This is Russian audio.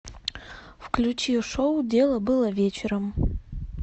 включи шоу дело было вечером